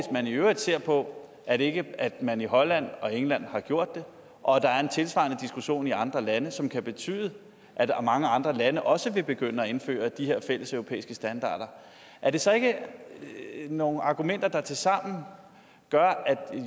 man i øvrigt ser på at at man i holland og england har gjort det og at der er en tilsvarende diskussion i andre lande som kan betyde at mange andre lande også vil begynde at indføre de her fælles europæiske standarder er det så ikke nogle argumenter der tilsammen gør at